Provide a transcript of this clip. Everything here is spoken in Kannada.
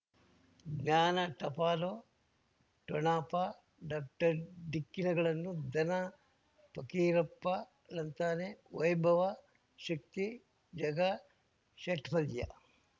ಜ್ಞಾನ ಟಪಾಲು ಠೊಣಪ ಡಾಕ್ಟರ್ ಢಿಕ್ಕಿ ಣಗಳನು ಧನ ಫಕೀರಪ್ಪ ಳಂತಾನೆ ವೈಭವ ಶಕ್ತಿ ಝಗಾ ಷಟ್ಪದಿಯ